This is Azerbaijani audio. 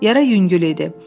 Yara yüngül idi.